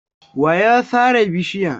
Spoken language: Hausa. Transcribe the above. Wa ya sare bishiyan?